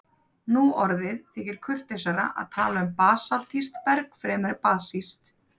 Nú orðið þykir kurteisara að tala um basaltískt berg fremur en basískt.